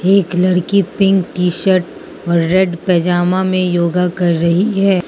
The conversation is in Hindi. एक लड़की पिंक टी शर्ट और रेड पजामा में योगा कर रही है।